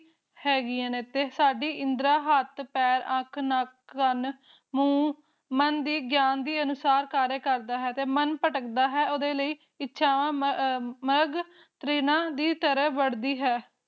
ਹੈਗਿਆ ਅਤੇ ਸਾਡੀ ਇੰਦਰਾ ਹੇਠ ਪੈਰ, ਅਖ, ਕਾਨ, ਨੈਕ, ਮੂਹ, ਮਨ ਦੇ ਗਿਆਨ ਅਨੁਸਾਰ ਕਮ ਕਰਦੀ ਹੈ ਤੇ ਮਨ ਭਟਕਦਾ ਹੈ ਤੇ ਓਹਦੇ ਲਯੀ ਇਸ਼ਾਵਾ ਮਰਗ ਤਰੀਨਾ ਦੀ ਤਰਾ ਵਾੜ ਦੀ ਹੈ